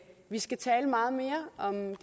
vi skal tale meget mere om